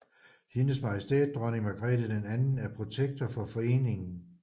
Hendes Majestæt Dronning Margrethe II er protektor for foreningen